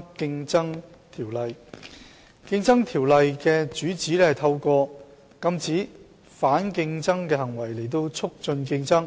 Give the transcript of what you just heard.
《競爭條例》的主旨是通過禁止反競爭行為來促進競爭，